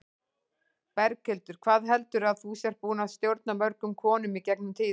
Berghildur: Hvað heldurðu að þú sért búin að stjórna mörgum konum í gegnum tíðina?